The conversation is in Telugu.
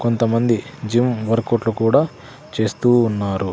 కొంతమంది జిమ్ వర్కౌట్లు కూడా చేస్తూ ఉన్నారు.